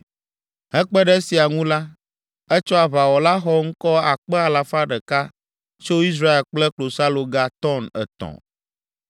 Hekpe ɖe esia ŋu la, etsɔ aʋawɔla xɔŋkɔ akpe alafa ɖeka (100,000) tso Israel kple klosaloga tɔn etɔ̃.